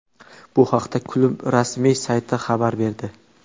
Bu haqda klub rasmiy sayti xabar berdi.